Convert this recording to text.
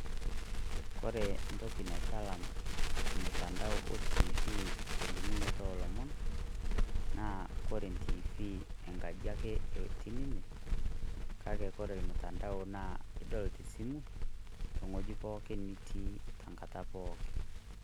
Kore entoki naitalam ormutandao ontiifii telimunoto oolomon naa ore entiifii enkaji ake etii ninye kake ore ormutandao naa edol te simu tewueji pooki nitii tenkata pooki.